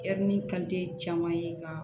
caman ye ka